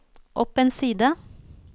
opp en side